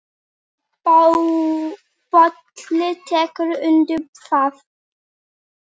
Bolli tekur undir það.